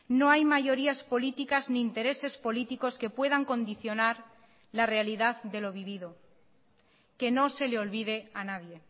no hay mayorías políticas ni intereses políticos que puedan condicionar la realidad de lo vivido que no se le olvide a nadie